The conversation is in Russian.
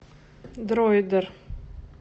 дроидер